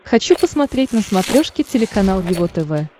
хочу посмотреть на смотрешке телеканал его тв